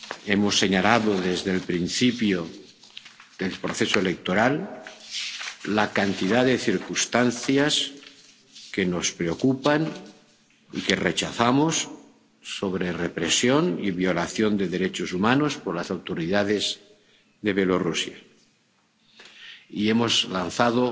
Hemos señalado, desde el principio del proceso electoral, la cantidad de circunstancias que nos preocupan y que rechazamos sobre represión y violación de derechos humanos por las autoridades de Bielorrusia, y hemos lanzado